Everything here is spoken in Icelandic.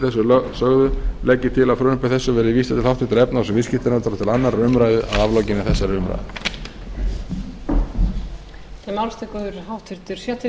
sögðu legg ég til að frumvarpi þessu verði vísað til háttvirtrar efnahags og viðskiptanefndar og til annarrar umræðu að aflokinni þessar umræðu